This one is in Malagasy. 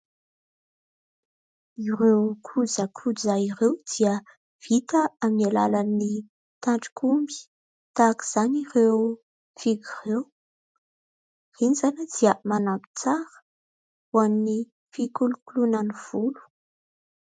ireo kojakoja ireo dia vita amin'ny alalan'ny tandrokomby , tahaka izany ireo fihogo ireo, iny izany dia manampy tsara ho an'ny fikolokoloana ny volo